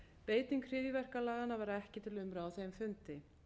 beiting hryðjuverkalaganna var ekki til umræðu á þeim fundi